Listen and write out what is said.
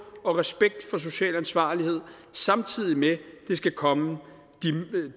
og respekt for social ansvarlighed samtidig med at det skal komme